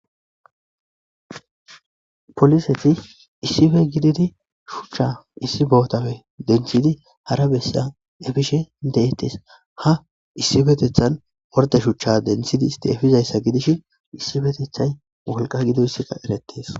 Poliseti issipe gididi shuchcha issi bootape denththidi hara bessa epishe de'etees; ha isipetethan orde shuchcha denththidi istti epizayssa gidishin issipetethay wolqa gidoyssaza eretees.